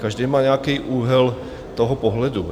Každý má nějaký úhel toho pohledu.